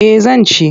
Eh zan ci.